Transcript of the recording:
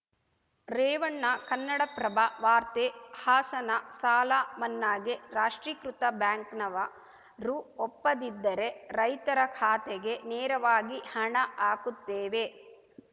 ರೇವಣ್ಣ ಕನ್ನಡಪ್ರಭ ವಾರ್ತೆ ಹಾಸನ ಸಾಲ ಮನ್ನಾಗೆ ರಾಷ್ಟ್ರೀಕೃತ ಬ್ಯಾಂಕ್‌ನವ ರು ಒಪ್ಪದಿದ್ದರೆ ರೈತರ ಖಾತೆಗೆ ನೇರವಾಗಿ ಹಣ ಹಾಕುತ್ತೇವೆ